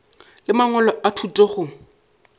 le mangwalo a thuto go